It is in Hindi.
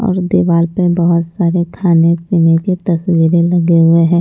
और दीवार पर बहुत सारे खाने-पीने के तस्वीरें लगे हुए हैं।